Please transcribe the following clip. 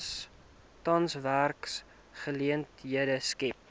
tans werksgeleenthede skep